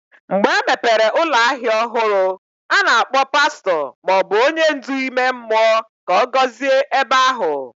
Mgbe emepere ụlọ ahịa ọhụrụ, a na-akpọ pastọ ma ọ bụ onye ndu ime mmụọ ka ọ gọzie ebe ahụ.